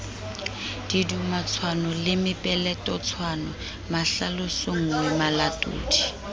didumatshwano le mepeletotshwano mahlalosonngwe malatodi